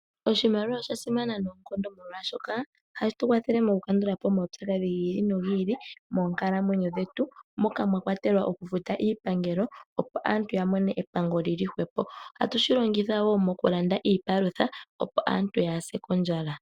Oshimaliwa osha simana noonkondo molwaashoka ohashi tu kwathele moku kandulapo omaupyakadhi gi ili no gi ili moonkalamwenyo dhetu moka mwa kwatelwa oku futa iipangelo, opo aantu ya mone epango lili hwepo, ohatu shi longithwa wo moku landa iipalutha, opo aantu yaa se kondjala.